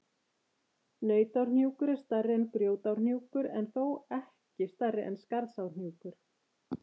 Nautárhnjúkur er stærri en Grjótárhnjúkur, en þó ekki stærri en Skarðsárhnjúkur.